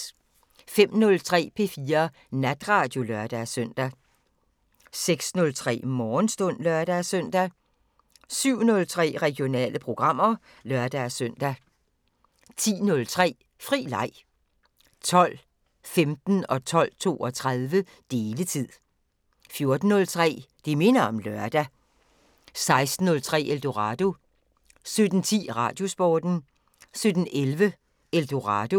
05:03: P4 Natradio (lør-søn) 06:03: Morgenstund (lør-søn) 07:03: Regionale programmer (lør-søn) 10:03: Fri leg 12:15: Deletid 12:32: Deletid 14:03: Det minder om lørdag 16:03: Eldorado 17:10: Radiosporten 17:11: Eldorado